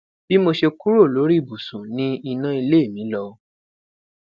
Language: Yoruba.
bi mo ṣe kuro lori ibusu ni ina ile mi lọ